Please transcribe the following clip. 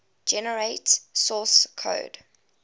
generate source code